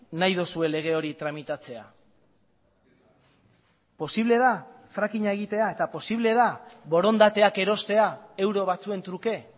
nahi duzue lege hori tramitatzea posible da frackinga egitea eta posible da borondateak erostea euro batzuen truke